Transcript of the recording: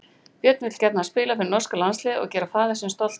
Björn vill gjarnan spila fyrir norska landsliðið og gera faðir sinn stoltan.